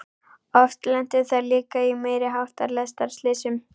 Oft lentu þær líka í meiri háttar lestarslysum.